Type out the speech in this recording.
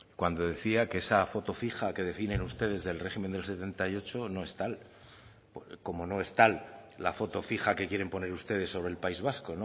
cuando decía que esa foto fija que definen ustedes del régimen del setenta y ocho no es tal como no es tal la foto fija que quieren poner ustedes sobre el país vasco